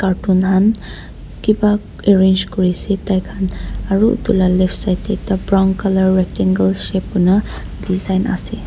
kiba arrange kuriase taikhan aro edu la left side tae ekta brown colour rectangle shape kuina design ase.